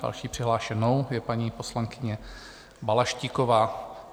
Další přihlášenou je paní poslankyně Balaštíková.